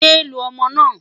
yé lu ọmọ na